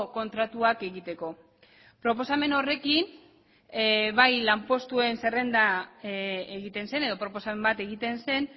kontratuak egiteko proposamen horrekin bai lanpostuen zerrenda egiten zen edo proposamen bat egiten zen